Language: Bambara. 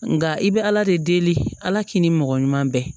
Nka i bɛ ala de deli ala k'i ni mɔgɔ ɲuman bɛɛ